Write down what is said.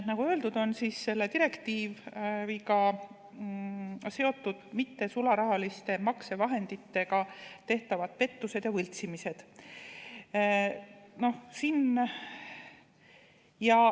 Nagu öeldud, on selle direktiiviga seotud mittesularahaliste maksevahenditega tehtavad pettused ja võltsimised.